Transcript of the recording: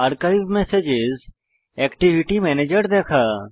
archive messages activity ম্যানেজের দেখা